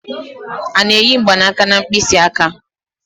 A na-eyi mgbanaka na mkpịsị aka.